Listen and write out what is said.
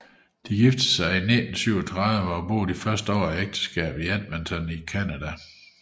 De giftede sig i 1917 og boede de første år af ægteskabet i Edmonton i Canada